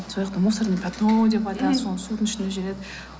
сол жақта мусорное пятно деп айтады сол судың ішінде жүреді